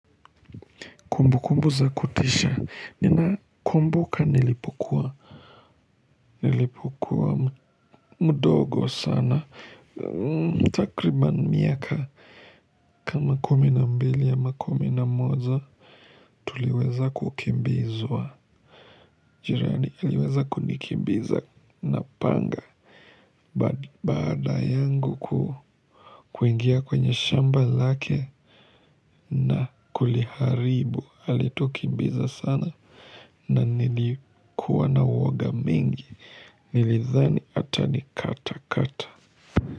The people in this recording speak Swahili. Kumbukumbu za kutisha. Ninakumbuka nilipokua nilipokua mdogo sana takribani miaka kama kumi na mbili ama kumi na moja tuliweza kukimbizwa jirani aliweza kunikimbiza na panga baada ya kuingia kwenye shamba lake na kuliharibu alitukimbiza sana na nilikuwa na uoga mingi Nilidhani atanikatakata.